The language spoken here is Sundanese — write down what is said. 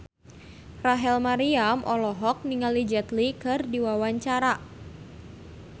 Rachel Maryam olohok ningali Jet Li keur diwawancara